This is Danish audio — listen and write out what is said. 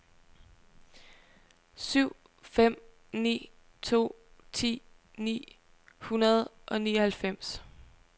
syv fem ni to ti ni hundrede og nioghalvfems